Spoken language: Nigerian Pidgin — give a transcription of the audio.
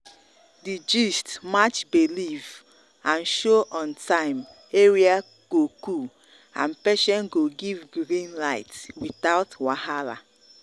the gist match belief and show on time area go cool and patient go give green light without wahala.